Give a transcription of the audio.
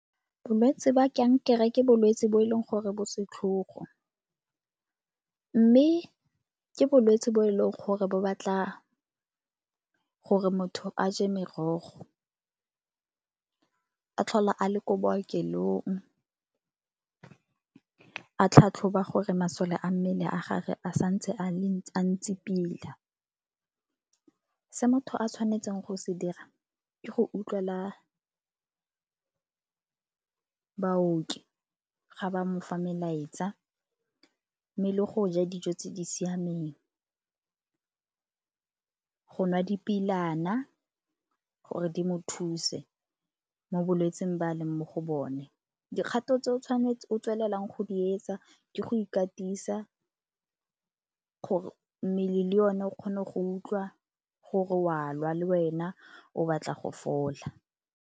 Bolwetsi ba kankere ke bolwetsi bo e leng gore bo setlhogo, mme ke bolwetse bo e leng gore ba batla gore motho a je merogo. A tlhola a le ko bookelong a tlhatlhoba gore masole a mmele a gagwe a sa ntse a ntse pila. Se motho a tshwanetseng go se dira ke go utlwelela baoki ga ba mo fa melaetsa mme le go ja dijo tse di siameng, go nwa di gore di mo thuse mo bolwetsing ba a leng mo go bone. Dikgato tse o tshwanetseng go tswelela go di etsa ke go ikatisa mmele le o ne o kgone go utlwa gore o a lwa le wena o batla go fola.